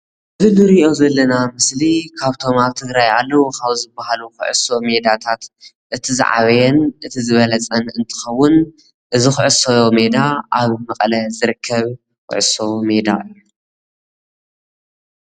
እዚ ንሪኦ ዘለና ምስሊ ካብቶም ኣብ ትግራይ ኣለው ካብ ዝበሃል ኩዕሶ ሜዳታት እቲ ዝዓበየን እቲ ዝበለፀን እንትኸውን እዚ ኩዕሶ ሜዳ ኣብ መቐለ ዝርከብ ኩዕሶ ሜዳ ።